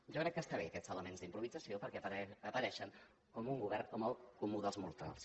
jo crec que estan bé aquests elements d’improvisació perquè apareixen com un govern del comú dels mortals